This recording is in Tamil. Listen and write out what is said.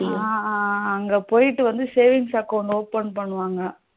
அஹ அங்க போயிட்டு வந்து savings account open பண்ணுவாங்க